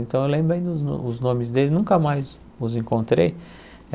Então eu lembro ainda os os nomes deles, nunca mais os encontrei.